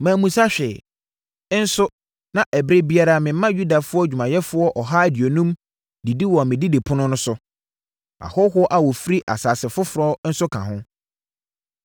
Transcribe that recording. Mammisa hwee, nso na ɛberɛ biara mema Yudafoɔ adwumayɛfoɔ ɔha aduonum didi wɔ me didipono so a, ahɔhoɔ a wɔfifiri nsase foforɔ so nka ho.